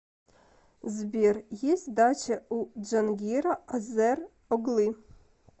сбер есть дача у джангира азер оглы